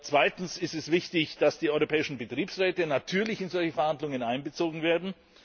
Zweitens ist es wichtig, dass die europäischen Betriebsräte natürlich in solche Verhandlungen einbezogen werden.